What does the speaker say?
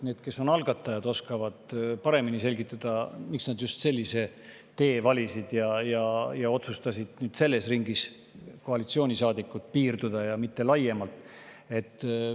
Need, kes on algatajad, oskavad paremini selgitada, miks nad just sellise tee valisid ja otsustasid selles ringis koalitsioonisaadikutega piirduda, mitte laiemalt.